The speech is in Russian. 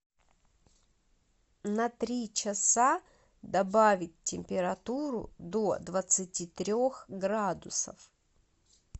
на три часа добавить температуру до двадцати трех градусов